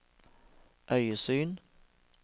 øyesyn